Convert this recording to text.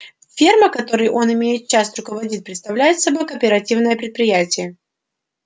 ферма которой он имеет честь руководить представляет собой кооперативное предприятие